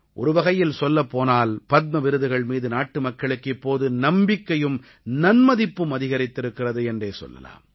ஒருவகையில் சொல்லப்போனால் பத்ம விருதுகள் மீது நாட்டுமக்களுக்கு இப்போது நம்பிக்கையும் நன்மதிப்பும் அதிகரித்திருக்கிறது என்றே சொல்லலாம்